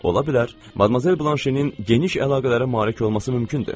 Ola bilər Madmazel Blanşenin geniş əlaqələrə malik olması mümkündür.